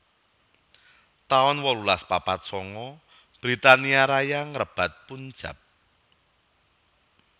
taun wolulas papat sanga Britania Raya ngrebat Punjab